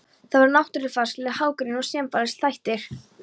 Það eru náttúrufarslegir, hagrænir og samfélagslegir þættir.